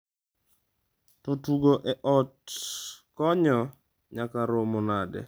To tugo e ot konyo nyaka romo nade?